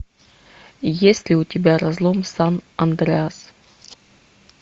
есть ли у тебя разлом сан андреас